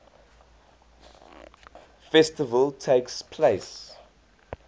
festival takes place